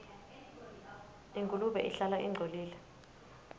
ingulube ihlala ingcolile